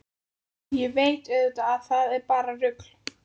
Ég veit auðvitað að það er bara rugl.